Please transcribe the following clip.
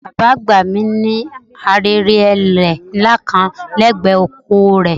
Bàbá àgbà mi ní ahéré ẹrẹ̀ ńlá kan lẹ́gbẹ̀ẹ́ oko rẹ̀